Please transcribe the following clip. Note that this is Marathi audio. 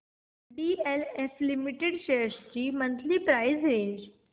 डीएलएफ लिमिटेड शेअर्स ची मंथली प्राइस रेंज